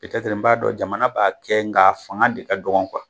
pɛtɛtiri n b'a jamana b'a kɛ nga a fanga de ka dɔgɔ kuwa